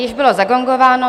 Již bylo zagongováno.